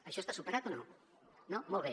això està superat o no no molt bé